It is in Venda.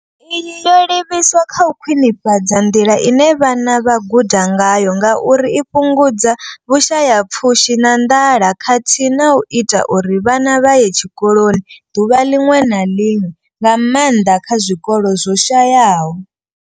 Iyi yo livhiswa kha u khwinifhadza nḓila ine vhana vha guda ngayo ngauri i fhungudza vhushayapfushi na nḓala khathihi na u ita uri vhana vha ye tshikoloni ḓuvha ḽiṅwe na ḽiṅwe, nga maanḓa kha zwikolo zwo shayaho.